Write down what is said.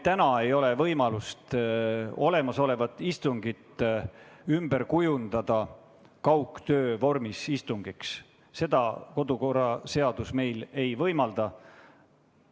Meil ei ole täna võimalik praegust istungit kaugtöö vormis istungiks ümber kujundada, seda kodu- ja töökorra seadus ei võimalda.